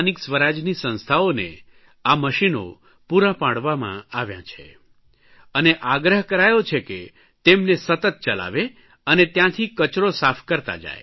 બધી સ્થાનિક સ્વરાજની સંસ્થાઓને આ મશીનો પૂરાં પાડવામાં આવ્યા છે અને આગ્રહ કરાયો છે કે તેમને સતત ચલાવે અને ત્યાંથી કચરો સાફ કરતા જાય